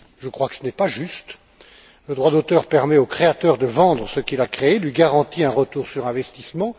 Je crois que ce n'est pas juste. Le droit d'auteur permet au créateur de vendre ce qu'il a créé, lui garantit un retour sur investissement.